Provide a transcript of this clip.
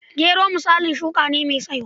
Gero misalin shuka ne mai saiwa.